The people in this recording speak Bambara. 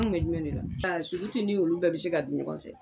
An kun bɛ jumɛn da la a ni olu bɛɛ bɛ se ka dun ɲɔgɔn fɛ